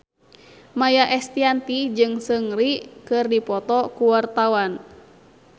Maia Estianty jeung Seungri keur dipoto ku wartawan